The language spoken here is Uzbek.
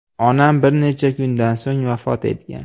Onam bir necha kundan so‘ng vafot etgan.